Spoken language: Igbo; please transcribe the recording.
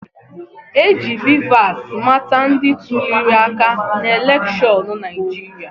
E ji BVAS mata ndị tuliri aka n'elekshọnụ Naịjirịa